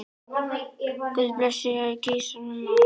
Guð blessi Gísla Má.